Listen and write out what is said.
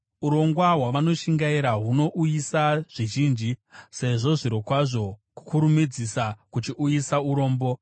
Urongwa hwavanoshingaira hunouyisa zvizhinji, sezvo, zvirokwazvo, kukurumidzisa kuchiuyisa urombo.